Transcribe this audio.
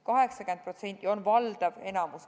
80% on valdav enamus.